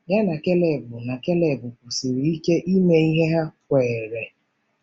Ya na Keleb na Keleb kwusiri ike ihe ha kweere.